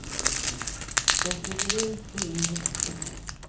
De flyger ut och in hur lätt som helst.